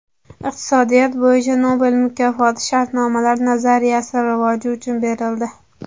Iqtisodiyot bo‘yicha Nobel mukofoti shartnomalar nazariyasi rivoji uchun berildi.